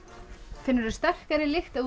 finnurðu sterkari lykt ef þú